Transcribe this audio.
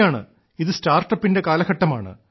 ശരിയാണ് ഇത് സ്റ്റാർട്ടപ്പിന്റെ കാലഘട്ടമാണ്